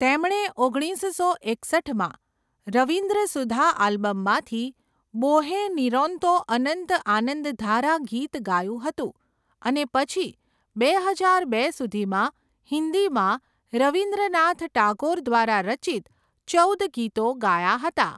તેમણે ઓગણીસસો એકસઠમાં રવિન્દ્ર સુધા આલ્બમમાંથી 'બોહે નિરોંતો અનંત આનંદધારા' ગીત ગાયું હતું અને પછી બે હજાર બે સુધીમાં હિન્દીમાં રવિન્દ્રનાથ ટાગોર દ્વારા રચિત ચૌદ ગીતો ગાયા હતા.